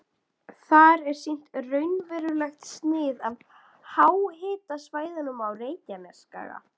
Þar er sýnt raunverulegt snið af háhitasvæðunum á Reykjanesskaga.